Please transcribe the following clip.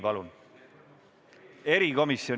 Palun!